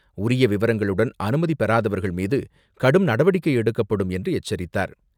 உரிய விவரங்களுடன் அனுமதி பெறாதவர்கள் மீது, கடும் நடவடிக்கை எடுக்கப்படும் என்று எச்சரித்தார்.